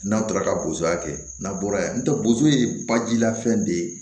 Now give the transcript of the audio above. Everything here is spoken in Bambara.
N'a tora ka bozoya kɛ n'a bɔra yan ntɛ bozo ye bajila fɛn de ye